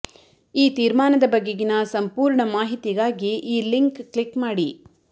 ಈ ತೀರ್ಮಾನದ ಬಗೆಗಿನ ಸಂಪೂರ್ಣ ಮಾಹಿತಿಗಾಗಿ ಈ ಲಿಂಕ್ ಕ್ಲಿಕ್ ಮಾಡಿ